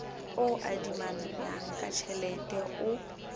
o adimanang ka tjhelete o